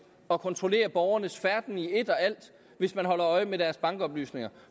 at kontrollere borgernes færden i et og alt hvis man holder øje med deres bankoplysninger